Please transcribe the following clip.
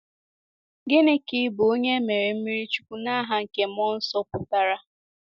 Gịnị ka ịbụ onye e mere mmiri chukwu ‘n’aha nke mmụọ nsọ’ pụtara?